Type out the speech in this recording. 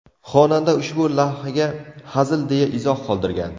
Xonanda ushbu lavhaga hazil deya izoh qoldirgan.